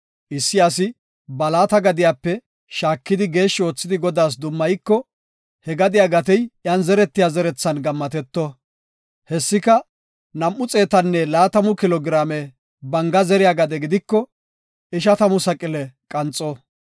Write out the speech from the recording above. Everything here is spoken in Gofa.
Issi asi ba laata gadiyape shaakidi geeshshi oothidi Godaas dummayiko, he gadiya gatey iyan zeretiya zerethan gammateto. Hessika nam7u xeetanne laatamu kilo giraame banga zeriya gade gidiko, ishatamu saqile qanxo.